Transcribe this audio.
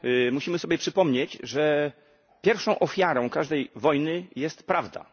Musimy sobie przypomnieć, że pierwszą ofiarą każdej wojny jest prawda.